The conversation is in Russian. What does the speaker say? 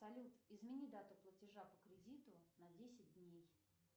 салют измени дату платежа по кредиту на десять дней